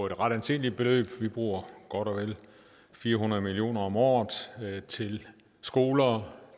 et ret anseligt beløb vi bruger godt og vel fire hundrede million kroner om året til skoler